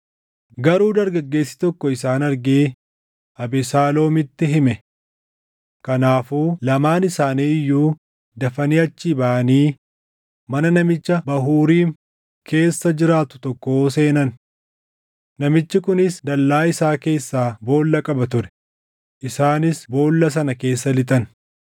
Garuu dargaggeessi tokko isaan argee Abesaaloom itti hime. Kanaafuu lamaan isaanii iyyuu dafanii achii baʼanii mana namicha Bahuuriim keessa jiraatu tokkoo seenan. Namichi kunis dallaa isaa keessaa boolla qaba ture; isaanis boolla sana keessa lixan.